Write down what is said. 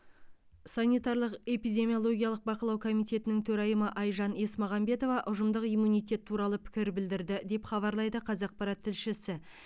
санитарлық эпидемиологиялық бақылау комитетінің төрайымы айжан есмағамбетова ұжымдық иммунитет туралы пікір білдірді деп хабарлайды қазақпарат тілшісі